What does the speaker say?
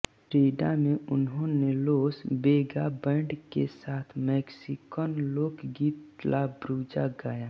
Frida में उन्होंने Los Vega band के साथ मेक्सिकन लोक गीत ला ब्रूजा गाया